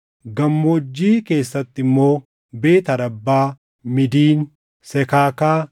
Gammoojjii keessatti immoo: Beet Arabbaa, Midiin, Sekaakaa,